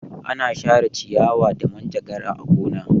Ana share ciyawa da manjagara a gona.